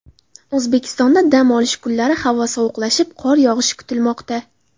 O‘zbekistonda dam olish kunlari havo sovuqlashib, qor yog‘ishi kutilmoqda.